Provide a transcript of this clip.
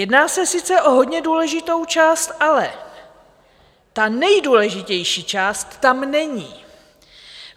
Jedná se sice o hodně důležitou část, ale ta nejdůležitější část tam není.